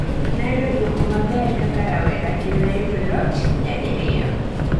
Ne ayudo duoko maber kaka rawera, kendo nayudo loch nyadiriyo